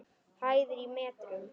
Hæðir í metrum.